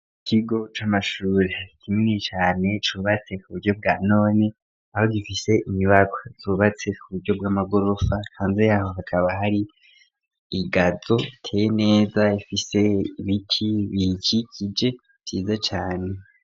Ikigo c'amashuri hafite imwe cane cubatse ku buryo bwanone aho gifise inyubako zubatse ku buryo bw'amagorofa hanze yaho hakaba hari igazo iteye neza ifise ibiki biki kije vyiza cane.